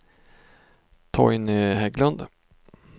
Torgny Hägglund